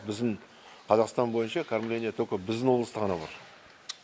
біздің қазақстан бойынша кормление біздің облыста ғана бар